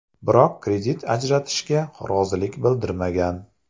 Biroq kredit ajratishga rozilik bildirmagan.